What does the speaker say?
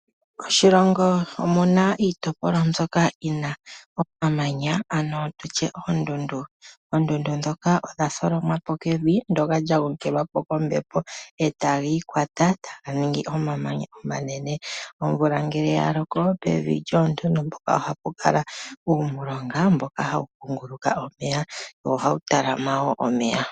Moshilongo omu na iitopolwa mbyoka yi na omamanya, ano tu tye oondundu. Oondundu ndhoka odha tholomwa po kevi, ndyoka lya gongelwa po kombepo, e taga ikwata, taga ningi omamanya omanene. Omvula ngele ya loko, pevi lyoondundu mpoka ohapu kala uumulonga mboka hawu kunguluka omeya, wo ohawu talama wo omeya.